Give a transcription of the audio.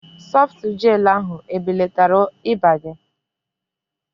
Sọftu Jel ahu ebelatara ịba gị?